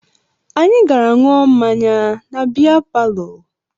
Anyị gara ṅụọ mmanya na bịa palọ